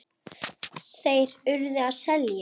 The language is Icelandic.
Þeir URÐU að selja.